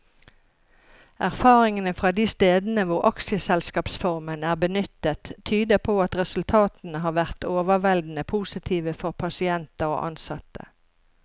Erfaringene fra de stedene hvor aksjeselskapsformen er benyttet, tyder på at resultatene har vært overveldende positive for pasienter og ansatte.